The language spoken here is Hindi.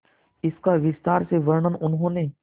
इसका विस्तार से वर्णन उन्होंने